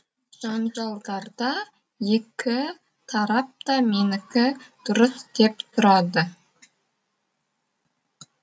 жанжалдарда екі тарап та менікі дұрыс деп тұрады